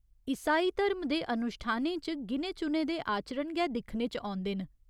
ईसाई धर्म दे अनुश्ठानें च गिने चुने दे आचरण गै दिक्खने च औंदे न।